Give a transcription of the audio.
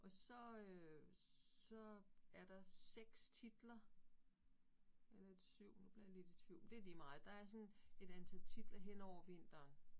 Og så øh så er der 6 titler, eller er det 7 nu bliver jeg lidt i tvivl, men det lige meget. Der er sådan et antal titler henover vinteren